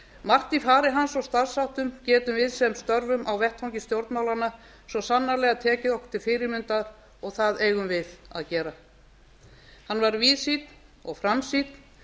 margt í fari hans og starfsháttum getum við sem störfum á vettvangi stjórnmálanna svo sannarlega tekið okkur til fyrirmyndar og það eigum við að gera hann var víðsýnn og framsýnn